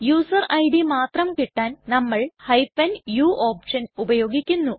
user ID മാത്രം കിട്ടാൻ നമ്മൾ u ഓപ്ഷൻ ഉപയോഗിക്കുന്നു